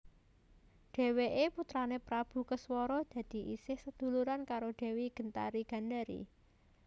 Dheweké putrané Prabu Keswara dadi isih seduluran karo Dewi Gendari Gandari